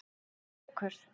Gaukur